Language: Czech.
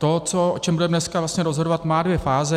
To, o čem budeme dneska rozhodovat, má dvě fáze.